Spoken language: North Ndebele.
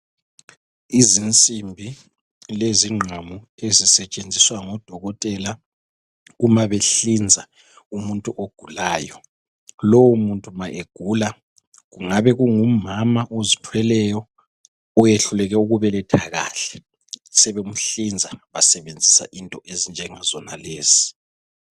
Izinsimbi lezingqamu ezisetshenziswa ngodokotela uma behlinza umuntu ogulayo , lo muntu ma egula kungaba ngumama ozithweleyo oyehluleke ukubeletha kahle semuhlinza besebenzisa into ezinjengazonalezi.